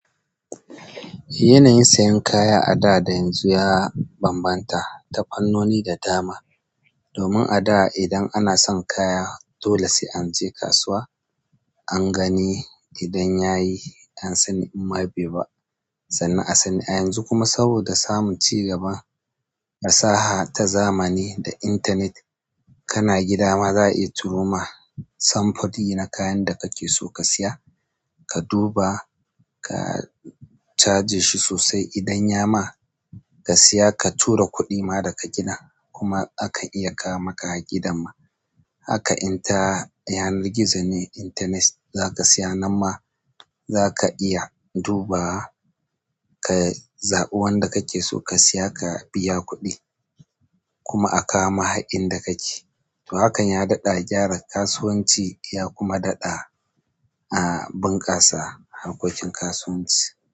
Yanayin siyen kaya a da da yanzu ya ban ban ta ta fanno ni da dama domin a da idan ana son kaya dole sai an je kasuwa, an gani idan yayi an sani in ma bai ba sannan a sani. A yanzu kuma saboda samun cigaban fasaha ta zamani da internet kana gida ma za a iya turo ma samfuri na kayan da kake so ka siya, ka duba ka caje shi sosai idan ya ma ka siya ka tura kuɗi ma da ka gina kuma akan iya kawo maka har gidan ma. Haka inta yanar gizo ne, internet za ka siya, nan ma za ka iya duba ka zaɓi wanda kake so ka siya ka biya kuɗi kuma a kawo mahakin da kake. To hakan ya daɗa gyara kasuwanci ya kuma daɗa, a bunƙasa harkokin kasuwanci.